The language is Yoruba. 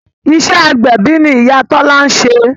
Iṣẹ́ agbẹ̀bí ni Ìyá Tọ́lá ń ṣe